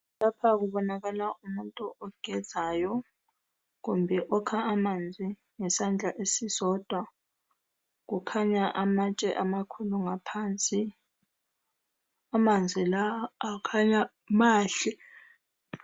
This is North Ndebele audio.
Lapha kubonakala umuntu ogezayo kumbe okha amanzi ngesandla esisodwa. Kukhanya amatshe amakhulu ngaphansi amanzi la akhanya mahle.